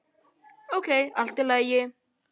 Ókei, allt í lagi.